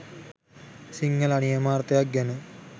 සිංහල අනියමාර්ථයක් ගැන